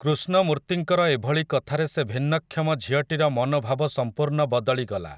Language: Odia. କୃଷ୍ଣମୂର୍ତ୍ତିଙ୍କର ଏଭଳି କଥାରେ ସେ ଭିନ୍ନକ୍ଷମ ଝିଅଟିର ମନୋଭାବ ସମ୍ପୂର୍ଣ୍ଣ ବଦଳିଗଲା ।